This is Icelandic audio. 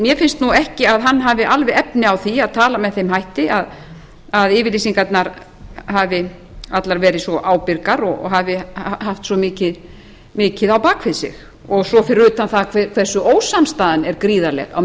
mér finnst ekki að hann hafi alveg efni á því að tala með þeim hætti að yfirlýsingarnar hafi allar verið svo ábyrgar og hafi haft svo mikið á bak við sig og svo fyrir utan það hversu ósamstaðan er gríðarleg á